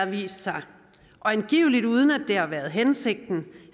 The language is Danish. vist sig og angiveligt uden at det har været hensigten